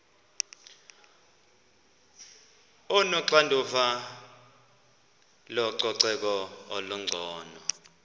onoxanduva lococeko olungcono